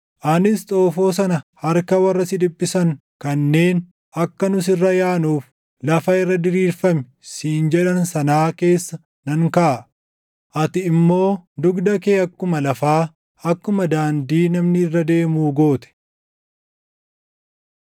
Anis xoofoo sana harka warra si dhiphisan kanneen, ‘Akka nu sirra yaanuuf, lafa irra diriirfami’ siin jedhan sanaa keessa nan kaaʼa. Ati immoo dugda kee akkuma lafaa, akkuma daandii namni irra deemuu goote.”